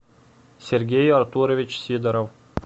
сергей артурович сидоров